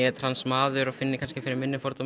trans maður eru kannski minni fordómar